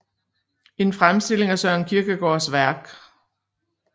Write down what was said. En Fremstilling af Søren Kierkegaards Værk